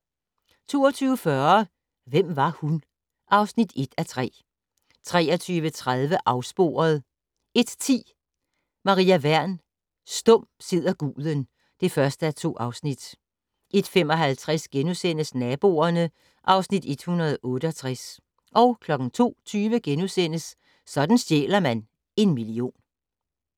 22:40: Hvem var hun? (1:3) 23:30: Afsporet 01:10: Maria Wern: Stum sidder guden (1:2) 01:55: Naboerne (Afs. 168)* 02:20: Sådan stjæler man en million *